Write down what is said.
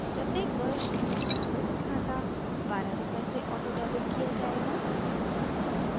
प्रत्येक वर्ष हमारा बचत खाता 12/ रूपए से ऑटोडेबिट किया जायेगा